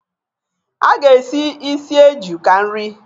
A ga-esi ísì eju ka nri.